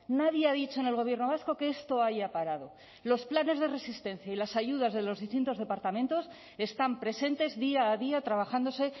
nadie ha dicho en el gobierno vasco que esto haya parado los planes de resistencia y las ayudas de los distintos departamentos están presentes día a día trabajándose